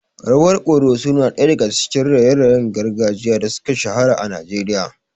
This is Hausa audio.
Rawar ƙoroso na daya daga cikin raye-rayen gargajiya da suka shahara a Najeriya.